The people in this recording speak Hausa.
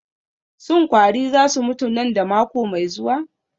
Shin kwari za su mutu nan da mako mai zuwa?